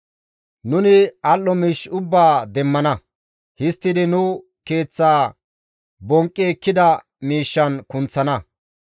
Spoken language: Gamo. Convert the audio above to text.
Nuni al7o miish ubbaa demmana; histtidi nu keeththa bonqqi ekkida miishshan kunththana.